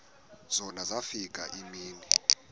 zona zafika iimini